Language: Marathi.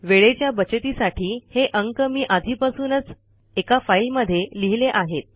वेळेच्या बचतीसाठी हे अंक मी आधीपासूनच एका फाईलमध्ये लिहिले आहेत